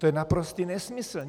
To je naprostý nesmysl.